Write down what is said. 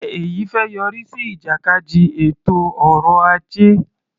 Ṣe èyí fẹ́ yọrí sí ìjàkadì ètò ọrọ ajé?